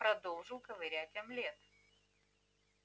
продолжил ковырять омлет